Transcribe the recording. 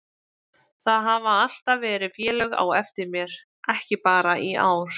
Það hafa alltaf verið félög á eftir mér, ekki bara í ár.